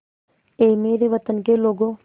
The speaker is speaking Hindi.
ऐ मेरे वतन के लोगों